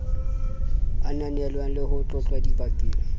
ananelwang le ho tlotlwa dibakeng